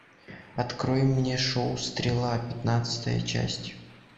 открой мне шоу стрела пятнадцатая часть